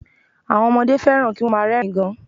Àwọn ọmọdé fẹ́ràn kí wọ́n má a rẹ́rìn ín gan